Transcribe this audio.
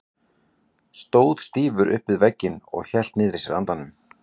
Stóð stífur upp við vegginn og hélt niðri í sér andanum.